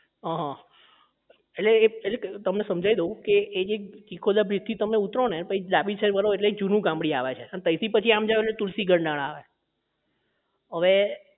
અહં હ એટલે એ તમને સમજાવી દઉં એટલે કે એ જે ચીખોલા bridge થી તમે ઉતરો ને પછી ડાબી side વડો એટલે એક જૂની ગામડી આવે છે અને પછી તમે તૈથી ત્યાં જાવ એટલે તુલસી ગઢાણા આવે અવે